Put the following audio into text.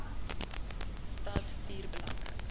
stad vier belangrike